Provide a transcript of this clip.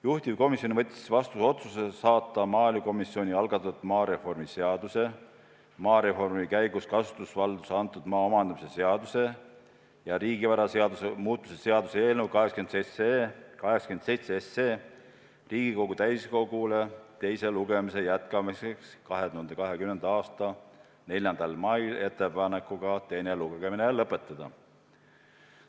Juhtivkomisjon võttis vastu otsuse saata maaelukomisjoni algatatud maareformi seaduse, maareformi käigus kasutusvaldusesse antud maa omandamise seaduse ja riigivaraseaduse muutmise seaduse eelnõu Riigikogu täiskogule teise lugemise jätkamiseks 2020. aasta 4. maiks ettepanekuga teine lugemine lõpetada.